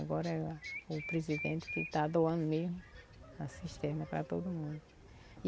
Agora é o presidente que está doando mesmo a cisterna para todo mundo.